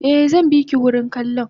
Eh zanbiki wurin kallon